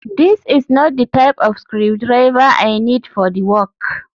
this is not the type of screwdriver I need for the work